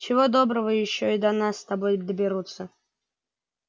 чего доброго ещё и до нас с тобой доберутся